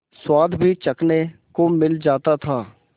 स्वाद भी चखने को मिल जाता था